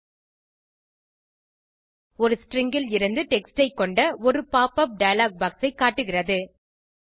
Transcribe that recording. இது ஸ்ட்ரிங் லிருந்து டெக்ஸ்ட் ஐ கொண்ட ஒரு pop உப் டயலாக் பாக்ஸ் ஐ காட்டுகிறது